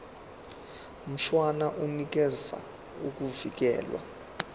mshwana unikeza ukuvikelwa